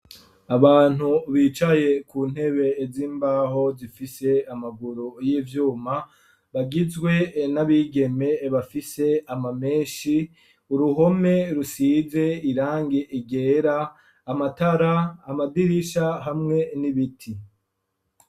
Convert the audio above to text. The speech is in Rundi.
Abantu bicaye ku ntebe z'imbaho zifise amaguru y'ivyuma bagizwe n'abigeme bafise amamenshi uruhome rusize irange igera amatara amadirisha hamwe n'ibiti.